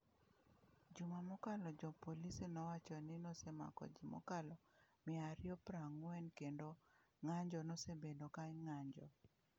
Juma mokalo, jopolisi nowacho ni osemako ji mokalo miaariyoprang'wen kendo ng’anjo nosebedo ka ng’anjo.